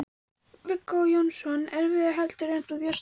Viggó Jónsson: Erfiðara heldur en þú bjóst við?